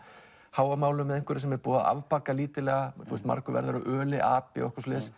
Hávamálum eða einhverju sem er búið að afbaka lítillega margur verður að öli api eitthvað svoleiðis